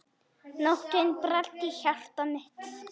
Nóttin bræddi hjarta mitt.